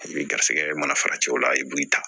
I bɛ garisigɛ mana fara cɛw la i b'i ta